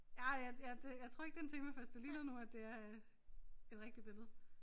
Ej jeg jeg det jeg tror ikke det en temafest det ligner nu at det er øh et rigtigt billede